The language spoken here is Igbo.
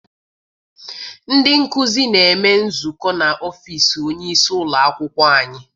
Ndị nkụzi na-eme nzukọ n'ọfịịsi onyeisi ụlọakwụkwọ anyị.